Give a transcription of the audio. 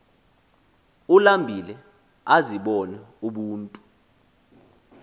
ulambile azibone ubuntu